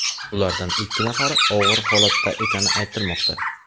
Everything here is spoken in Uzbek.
Ulardan ikki nafari og‘ir holatda ekani aytilmoqda.